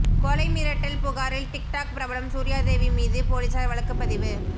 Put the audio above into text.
கொலை மிரட்டல் புகாரில் டிக்டாக் பிரபலம் சூர்யாதேவி மீது போலீசார் வழக்குப்பதிவு